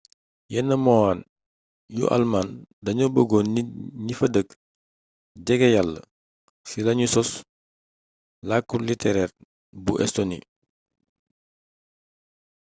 yenn moine yu almaañ dañoo bëggoon nit ñi fa dëkk jege yalla ci lañu sos làkku litereer bu estoni